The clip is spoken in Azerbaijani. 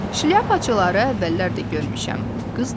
Şliapaçıları əvvəllər də görmüşəm, qız düşündü.